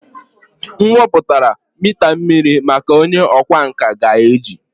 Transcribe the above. M weputara mita mmiri maka onye ọkwá nkà ga-eji.